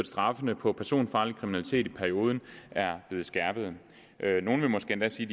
straffene for personfarlig kriminalitet i perioden er blevet skærpet nogle vil måske endda sige